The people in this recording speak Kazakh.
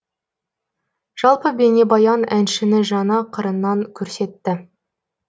жалпы бейнебаян әншіні жаңа қырынан көрсетті